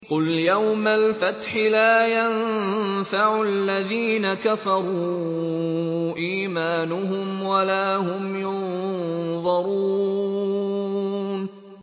قُلْ يَوْمَ الْفَتْحِ لَا يَنفَعُ الَّذِينَ كَفَرُوا إِيمَانُهُمْ وَلَا هُمْ يُنظَرُونَ